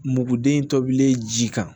Muguden tobilen ji kan